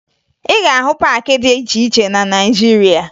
Ị ga-ahụ paakị dị iche iche na Naịjirịa